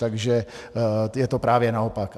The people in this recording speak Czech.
Takže je to právě naopak.